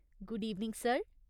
Good evening, sir !